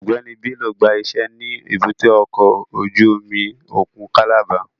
Ọgbẹni Bello gba ise ni èbúté ọkọ ojú omi okun Calabar